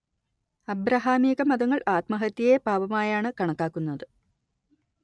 അബ്രഹാമികമതങ്ങൾ ആത്മഹത്യയെ പാപമായാണ് കണക്കാക്കുന്നത്